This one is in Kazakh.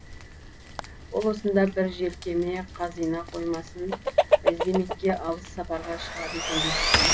ол осында бір желкеме қазина қоймасын іздемекке алыс сапарға шығады екен деп жүрген